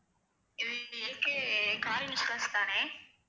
இது car insurance தானே